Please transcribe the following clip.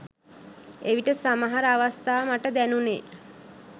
එවිට සමහර අවස්ථා මට දැනුණෙ